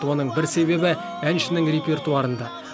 оның бір себебі әншінің репертуарында